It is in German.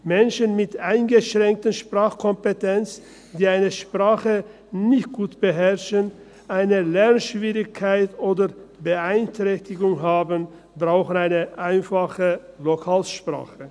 Menschen mit eingeschränkter Sprachkompetenz, die eine Sprache nicht gut beherrschen, eine Lernschwierigkeit oder Beeinträchtigung haben, brauchen eine einfache Lokalsprache.